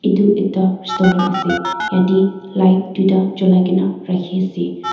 iti ekta restaurant ase yati light duita chulaikena rakhi ase.